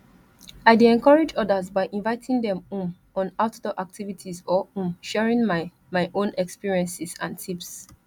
i dey encourage odas by inviting dem um on outdoor activities or um sharing my my own experiences and tips